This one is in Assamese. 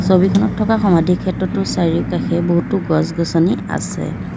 ছবিখনত থকা সমাধি ক্ষেত্ৰটো চাৰিওকাষে বহুতো গছ গছনি আছে।